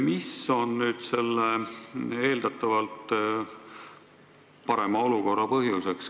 Mis on selle eeldatavalt parema olukorra põhjus?